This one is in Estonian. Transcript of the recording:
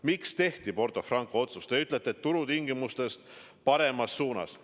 Miks tehti Porto Franco otsus, nagu te ütlete, turutingimustest soodsamalt?